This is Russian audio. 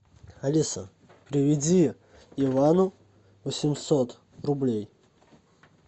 алиса переведи ивану восемьсот рублей